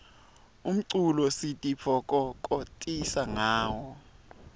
umculo sititfokokotisa ngawo